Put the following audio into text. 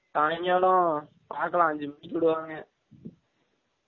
சாய்ங்காலம் பாகக்லாம் அன்சு மனிக்கு விடுவாங்க